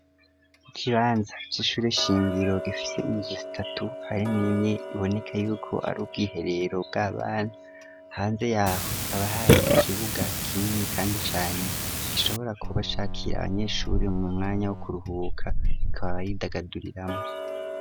Ibibanza vy'ishure shingiro gifise inzu zitatu harimwo imwe iboneka yuko ari ubwiherero bw'abana, hanze yaho hakaba hari ikibuga kinini kandi cane gishobora kuba cakira abanyeshuri mu mwanya wo kuruhuka bakaba baridagaduriramwo.